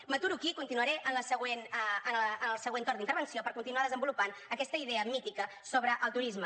m’aturo aquí i continuaré en el següent torn d’intervenció per continuar desenvolupant aquesta idea mítica sobre el turisme